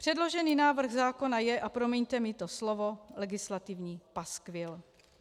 Předložený návrh zákona je, a promiňte mi to slovo, legislativní paskvil.